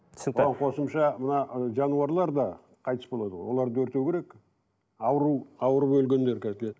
қосымша мына ы жануарлар да қайтыс болады ғой оларды өртеу керек ауру ауырып өлгендер